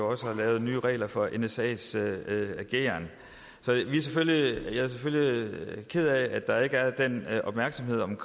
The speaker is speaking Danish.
også har lavet nye regler for nsas ageren så jeg er selvfølgelig ked af at der ikke er den opmærksomhed